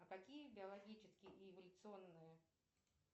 а какие биологические и эволюционные